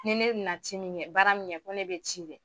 ni ne na ci min ŋɛ baara min kɛ ko ne be ci kɛ